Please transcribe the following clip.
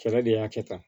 Kɛlɛ de y'a kɛ tan